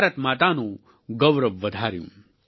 ભારત માતાનું ગૌરવ વધાર્યું